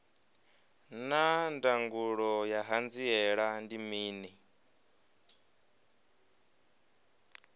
naa ndangulo ya hanziela ndi mini